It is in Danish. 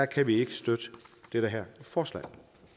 kan vi ikke støtte det her forslag